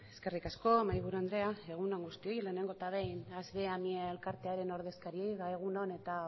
eskerrik asko mahaiburu andrea egun on guztioi lehenengo eta behin asviamie elkarteko ordezkariei egun on eta